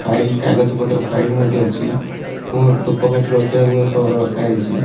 File କାଗଜ ପତ୍ର file ମଧ୍ଯ ଅଛି ଧୁପକାଠି ରଖିବାକୁ ମଧ୍ଯ ଅଛି।